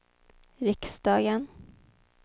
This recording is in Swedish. riksdagen